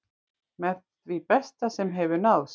Með því besta sem hefur náðst